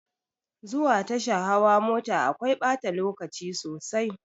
Zuwa tasha hawa mota akwai ɓata lokaci sosai.